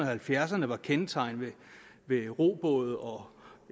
halvfjerdserne var kendetegnet ved robåde og